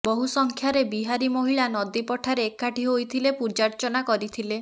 ବହୁ ସଂଖ୍ୟାରେ ବିହାରୀ ମହିଳା ନଦୀ ପଠାରେ ଏକାଠି ହୋଇଥିଲେ ପୂଜାର୍ଚ୍ଚନା କରିଥିଲେ